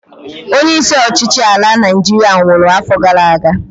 Onye isi ọchịchị ala Naịjiria nwụrụ afọ gara aga